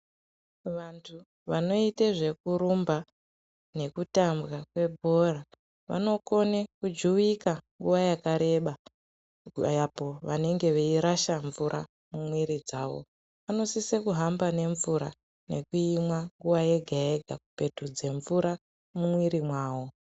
Vantu vanoite zvekurumba nekutambwa kwebhora vanokone kujuwika nguwa yakareba apo vanenge veirasha mvura mumwiri dzavo vanosise kuhambe nemvura nekuimwa nguwa yega yega kupetudza mvura mumwiri mavo.